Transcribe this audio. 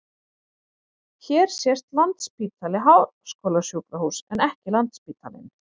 Hér sést Landspítali- háskólasjúkrahús en ekki Landsspítalinn.